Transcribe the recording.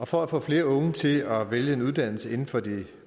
for at få flere unge til at vælge en uddannelse inden for de